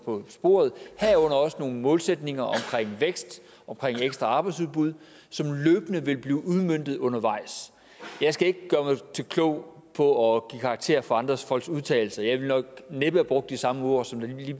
på sporet herunder også nogle målsætninger for vækst og ekstra arbejdsudbud som løbende vil blive udmøntet undervejs jeg skal ikke gøre mig klog på at give karakterer for andre folks udtalelser men jeg ville nok næppe have brugt de samme ord som lige